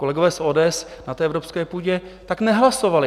Kolegové z ODS na té evropské půdě tak nehlasovali.